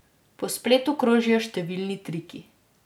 Po spletu krožijo številni triki.